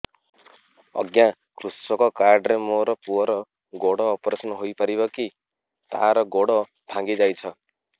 ଅଜ୍ଞା କୃଷକ କାର୍ଡ ରେ ମୋର ପୁଅର ଗୋଡ ଅପେରସନ ହୋଇପାରିବ କି ତାର ଗୋଡ ଭାଙ୍ଗି ଯାଇଛ